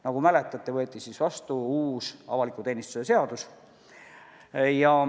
Nagu mäletate, võeti siis vastu uus avaliku teenistuse seadus.